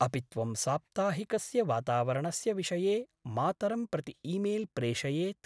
अपि त्वं साप्ताहिकस्य वातावरणस्य विषये मातरं प्रति ईमेल् प्रेषयेत्?